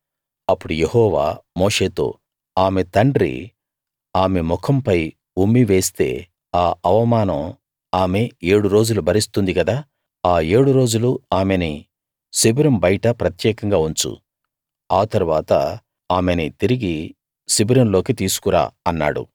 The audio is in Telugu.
అప్పుడు యెహోవా మోషేతో ఆమె తండ్రి ఆమె ముఖంపై ఉమ్మి వేస్తే ఆ అవమానం ఆమె ఏడు రోజులు భరిస్తుంది కదా ఆ ఏడు రోజులూ ఆమెని శిబిరం బయట ప్రత్యేకంగా ఉంచు ఆ తరువాత ఆమెని తిరిగి శిబిరంలోకి తీసుకు రా అన్నాడు